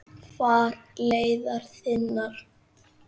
Far leiðar þinnar.